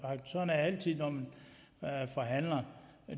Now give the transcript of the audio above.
altid når man forhandler